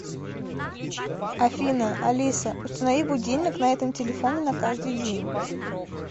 афина алиса установи будильник на этом телефоне на каждый день